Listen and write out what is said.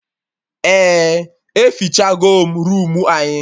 Eh, efichagom roomu anyị